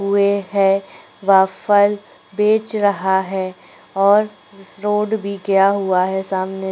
--हुए हैं वह फल बेच रहा है और रोड भी गया हुआ है सामने--